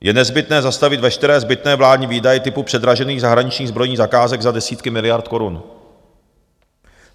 Je nezbytné zastavit veškeré zbytné vládní výdaje typu předražených zahraničních zbrojních zakázek za desítky miliard korun.